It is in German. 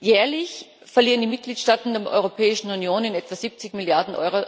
Jährlich verlieren die Mitgliedstaaten der Europäischen Union etwa 70 Mrd.